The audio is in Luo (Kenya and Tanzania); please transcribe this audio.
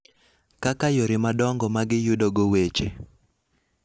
kaka yore madongo ma giyudogo weche.